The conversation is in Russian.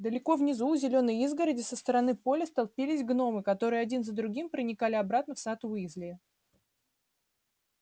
далеко внизу у зелёной изгороди со стороны поля столпились гномы которые один за другим проникали обратно в сад уизли